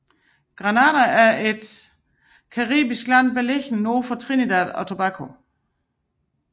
Grenada er et caribisk land beliggende nord for Trinidad og Tobago